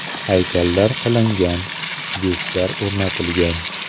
Haykallar qilingan, byustlar o‘rnatilgan.